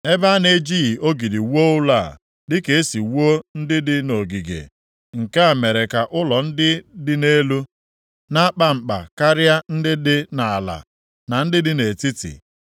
Ebe a na-ejighị ogidi wuo ụlọ a, dịka e si wuo ndị dị nʼogige, nke a mere ka ụlọ ndị dị nʼelu na-akpa nkpa karịa ndị nke dị nʼala, na ndị dị nʼetiti.